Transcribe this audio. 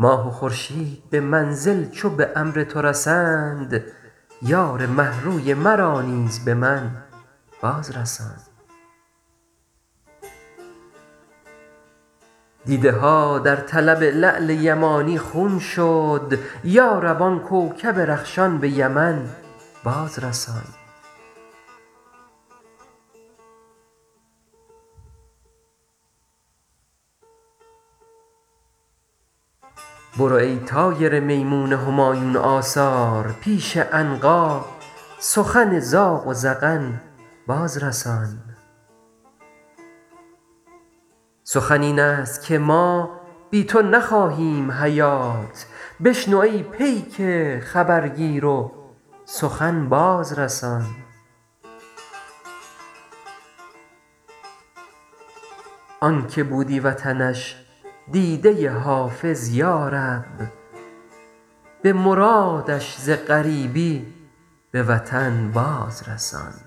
ماه و خورشید به منزل چو به امر تو رسند یار مه روی مرا نیز به من باز رسان دیده ها در طلب لعل یمانی خون شد یا رب آن کوکب رخشان به یمن باز رسان برو ای طایر میمون همایون آثار پیش عنقا سخن زاغ و زغن باز رسان سخن این است که ما بی تو نخواهیم حیات بشنو ای پیک خبرگیر و سخن باز رسان آن که بودی وطنش دیده حافظ یا رب به مرادش ز غریبی به وطن باز رسان